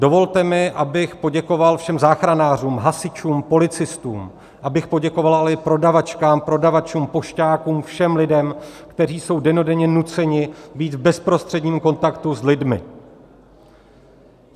Dovolte mi, abych poděkoval všem záchranářům, hasičům, policistům, abych poděkoval ale i prodavačkám, prodavačům, pošťákům, všem lidem, kteří jsou dennodenně nuceni být v bezprostředním kontaktu s lidmi.